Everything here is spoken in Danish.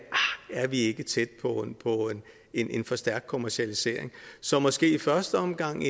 jeg er vi ikke tæt på en en for stærk kommercialisering så måske skulle vi i første omgang